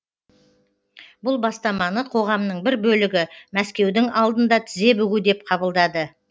бұл бастаманы қоғамның бір бөлігі мәскеудің алдында тізе бүгу деп қабылдады